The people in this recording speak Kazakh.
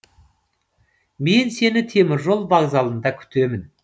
мен сені теміржол вокзалында күтемін